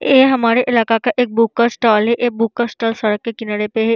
ए हमारे इलाका का एक बुक का स्टाल है ए बुक का स्टाल सड़क के किनारे पे है।